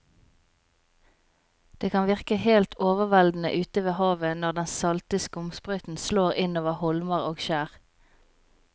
Det kan virke helt overveldende ute ved havet når den salte skumsprøyten slår innover holmer og skjær.